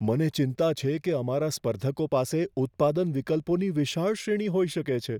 મને ચિંતા છે કે અમારા સ્પર્ધકો પાસે ઉત્પાદન વિકલ્પોની વિશાળ શ્રેણી હોઈ શકે છે.